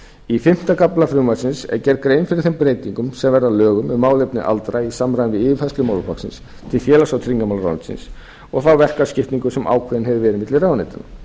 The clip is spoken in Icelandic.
í fimmta kafla frumvarpsins er gerð grein fyrir þeim breytingum sem verða að lögum um málefni aldraðra í samræmi við yfirfærslu málaflokksins til félags og tryggingamálaráðuneytisins og þá verkaskiptingu sem ákveðin hefur verið milli ráðuneyta